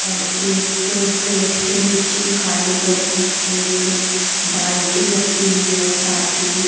और एक क्रेट जो नीचे खाली पड़े हैं एक बाल्टी रखी हुई है साथ में।